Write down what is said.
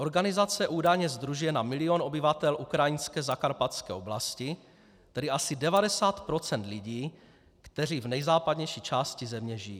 Organizace údajně sdružuje na milion obyvatel ukrajinské zakarpatské oblasti, tedy asi 90 % lidí, kteří v nejzápadnější části země žijí.